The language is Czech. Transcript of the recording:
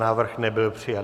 Návrh nebyl přijat.